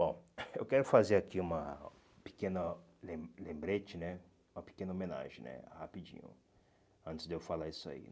Bom, eu quero fazer aqui uma pequena lem lembrete né, uma pequena homenagem né, rapidinho, antes de eu falar isso aí.